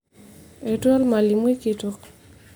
etua olmalimui kitok